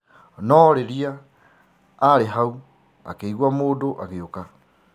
No rĩriaarĩ hau akĩigwa mũndũ agĩũka.